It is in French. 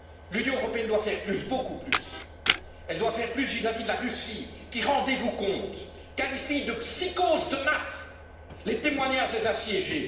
L'Union européenne doit faire plus, beaucoup plus. Elle doit faire plus vis à vis de la Russie qui, rendez vous compte, qualifie de psychose de masse les témoignages des assiégés.